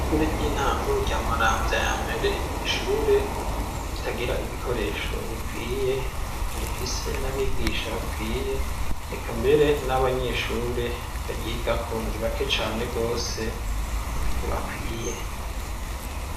Ishure ry'intango rya Maramvya ya mbere ni ishure ritagira ibikoresho bikwiye, ntirifise n'abigisha bakwiye, eka mbere n'abanyeshure baryigako ni bake cane rwose, ntibakwiye.